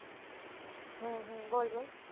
હમ બોલ બોલ